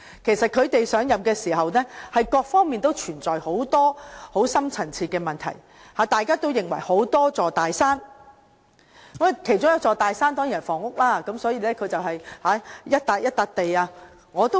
其實，在他們上任時，各方面都存在很多深層次問題，大家都認為有多座大山，其中一座大山當然是房屋問題，所以他便一塊一塊土地去做。